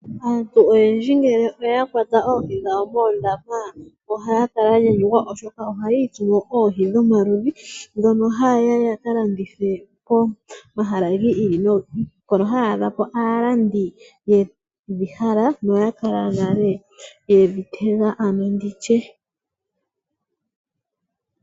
Aantu oyendji ngele oya kwata oohi dhawo moondama ohaya kala ya nyanyukwa, oshoka ohaya itsumo oohi dhomaludhi. Dhono haye ya ya ka landithe komahala gi ili nogi ili, hono haya adha ko aalandi yedhi hala, no ya kala nale yedhi tega ano ndi tye.